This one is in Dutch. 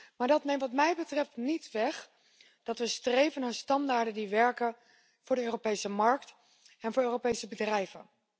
Maar dat neemt wat mij betreft niet weg dat we streven naar standaarden die werken voor de Europese markt en voor Europese bedrijven.